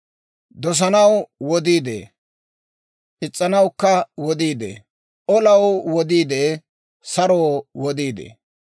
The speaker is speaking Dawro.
Dosanaw wodii de'ee; is's'anawukka wodii de'ee. Olaw wodii de'ee; saroo wodii de'ee.